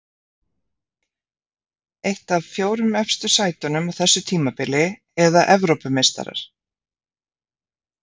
Eitt af fjórum efstu sætunum á þessu tímabili eða Evrópumeistarar?